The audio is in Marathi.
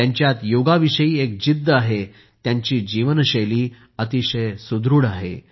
त्यांच्यात योगाविषयी एक जिद्द आहे त्यांची जीवनशैली अतिशय सुदृढ आहे